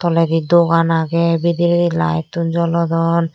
toledi dogan agey bidirey laettun jolodon.